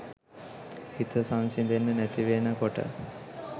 හිත සංසිඳෙන්නෙ නැතිවෙන කොට